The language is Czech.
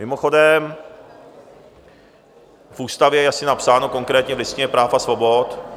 Mimochodem v ústavě je asi napsáno, konkrétně v Listině práv a svobod...